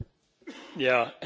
Herr Präsident!